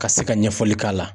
Ka se ka ɲɛfɔli k'a la.